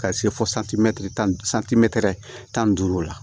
Ka se fo santimɛtiri tan ni santimɛtiri tan ni duuru la